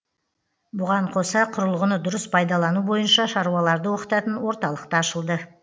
бұған қоса құрылғыны дұрыс пайдалану бойынша шаруаларды оқытатын орталық та ашылды